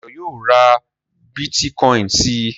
Dayọ̀ yóò ra bítíkọ́ìn si.